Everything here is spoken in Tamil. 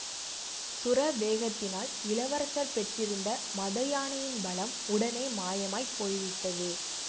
சுர வேகத்தினால் இளவரசர் பெற்றிருந்த மதயானையின் பலம் உடனே மாயமாய்ப் போய்விட்டது